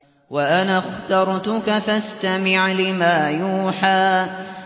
وَأَنَا اخْتَرْتُكَ فَاسْتَمِعْ لِمَا يُوحَىٰ